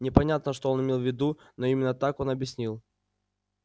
непонятно что он имел в виду но именно так он объяснил